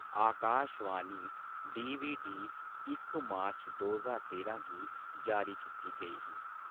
आकाश वाणी DVD इक March दोो ज्हार तेरां गी जारी कीती गेई ही।